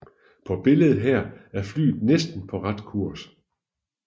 På billedet her er flyet næsten på ret kurs